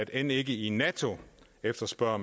end ikke i nato efterspørger